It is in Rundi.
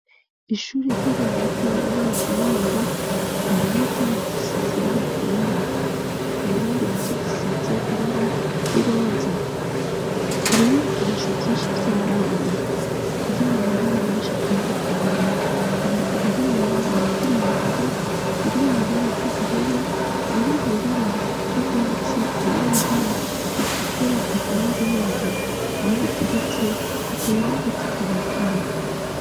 Ishuri ry'abana batoya riri mu Kinindo, impome zaho zisize ibara ryera, inkingi nazo zisize ibara ry'iroza, hari n'ibikinisho vyinshi vy'abana, biri mu mabara menshi atandukanye, hari ibiri mw'ibara ry'umuhondo, ibiri mw'ibara ry'ubururu, ibiri mw'ibara ry'urwatsi, ibiri mw'ibara ritukura, eka n'ibindi, aho biteretse hateye n'agati karekare.